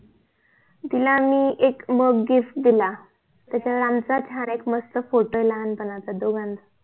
तिला मी एक MUG GIFT दिला त्याच्यावर लहानसा छान एक मस्त PHOTO आहे लहानपणाचा दोघांचा